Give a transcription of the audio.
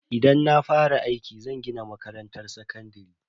Idan na fara aiki, zan gina makarantar sakandare.